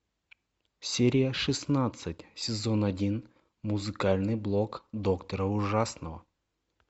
серия шестнадцать сезон один музыкальный блог доктора ужасного